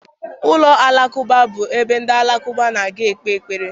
Ụlọ alakụba bụ ebe ndị Alakụba na-aga ikpe ekpere